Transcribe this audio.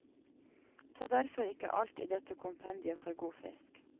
Ta derfor ikke alt i dette kompendiet for god fisk.